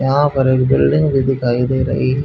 यहां पर एक बिल्डिंग भी दिखाई दे रही--